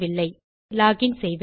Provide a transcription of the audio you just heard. ஆகவே லோகின் செய்வேன்